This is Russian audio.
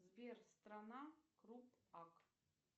сбер страна круп ак